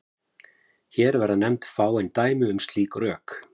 Hér verða nefnd fáein dæmi um slík rök.